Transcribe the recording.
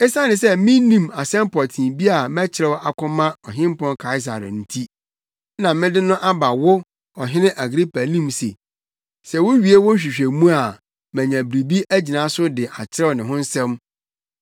Esiane sɛ minni asɛm pɔtee bi a mɛkyerɛw akɔma Ɔhempɔn Kaesare nti, na mede no aba wo, Ɔhene Agripa anim se sɛ wuwie wo nhwehwɛmuyɛ a manya biribi agyina so de akyerɛw ne ho asɛm.